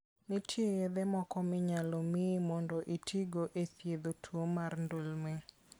Nitie yedhe moko minyalo miyi mondo itigo e thiedho tuwo mar ndulme.